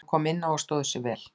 Hann kom inná og stóð sig vel.